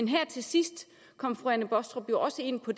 her til sidst kom fru anne baastrup også ind på